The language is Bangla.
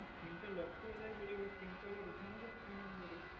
sim টা lock করে দেয় বলে তালে sim টা আবার ওখানে ওই number এ